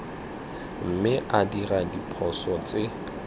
mme a dira diphoso tse